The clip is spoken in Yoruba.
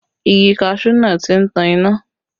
Igi kaṣuú náà tí ń tan iná